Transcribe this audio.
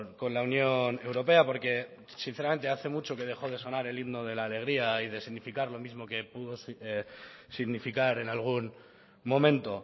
con la unión europea porque sinceramente hace mucho que dejó de sonar el himno de la alegría y de significar lo mismo que pudo significar en algún momento